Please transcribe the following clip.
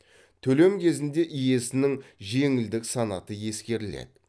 төлем кезінде иесінің жеңілдік санаты ескеріледі